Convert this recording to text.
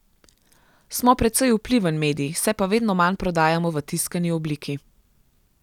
Smo precej vpliven medij, se pa vedno manj prodajamo v tiskani obliki.